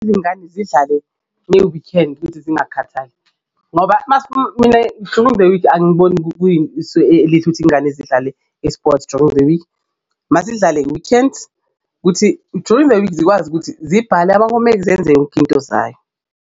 Izingane zidlale nge-weekend zingakhathali ngoba mina during the week angiboni kuyisu elihle ukuthi ingane zidlale i-sport during the week, mazidlale nge-weekends kuthi during the week zikwazi ukuthi zibhale ama-homework zenze yonke into zayo.